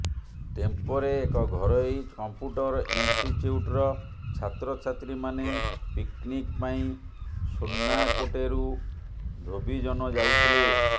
ଟେମ୍ପୋରେ ଏକ ଘରୋଇ କମ୍ପ୍ୟୁଟର ଇନଷ୍ଟିଚ୍ୟୁଟର ଛାତ୍ରଛାତ୍ରୀମାନେ ପିକ୍ନିକ୍ ପାଇଁ ସୁର୍ଣ୍ଣାକୋଟେରୁ ଧୋବିଜନ ଯାଉଥିଲେ